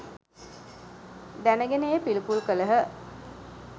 දැන ගෙන එය පිළිකුල් කළහ